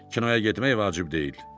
Kinoya getmək vacib deyil.